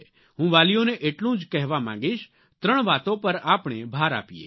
હું વાલીઓને એટલું જ કહેવા માગીશ ત્રણ વાતો પર આપણે ભાર આપીએ